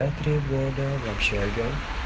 я три года в общаге